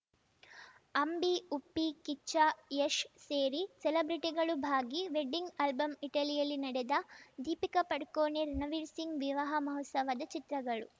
ಅಂಬಿ ಉಪ್ಪಿ ಕಿಚ್ಚ ಯಶ್‌ ಸೇರಿ ಸೆಲೆಬ್ರಿಟಿಗಳು ಭಾಗಿ ವೆಡ್ಡಿಂಗ್‌ ಆಲ್ಬಮ್‌ ಇಟಲಿಯಲ್ಲಿ ನಡೆದ ದೀಪಿಕಾ ಪಡುಕೋಣೆ ರಣವೀರ್‌ ಸಿಂಗ್‌ ವಿವಾಹ ಮಹೋತ್ಸವದ ಚಿತ್ರಗಳು